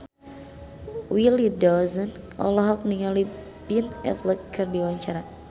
Willy Dozan olohok ningali Ben Affleck keur diwawancara